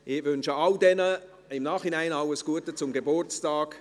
Ich wünsche Ihnen allen im Nachhinein alles Gute zum Geburtstag.